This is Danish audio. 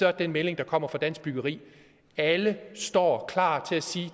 er den melding der kommer fra dansk byggeri at alle står klar